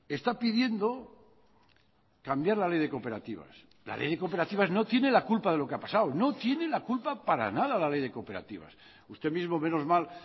está pidiendo cambiar la ley de cooperativas la ley de cooperativas no tiene la culpa de lo que ha pasado no tiene la culpa para nada la ley de cooperativas usted mismo menos mal